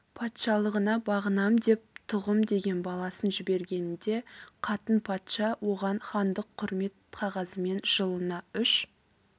патшалығына бағынам деп тұғым деген баласын жібергенінде қатын патша оған хандық құрмет қағазымен жылына үш